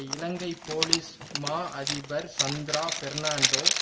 இலங்கை police மா அதிபர் சந்திரா பெர்ணான்டோ